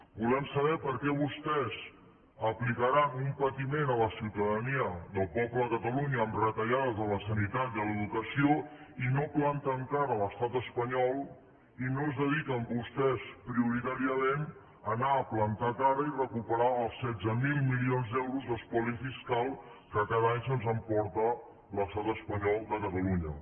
volem saber per què vostès aplicaran un patiment a la ciutadania del poble de catalunya amb retallades a la sanitat i a l’educació i no planten cara a l’estat espanyol i no es dediquen vostès prioritàriament a anar a plantar cara i recuperar els setze mil milions d’euros d’espoli fiscal que cada any se’ns emporta l’estat espanyol de catalunya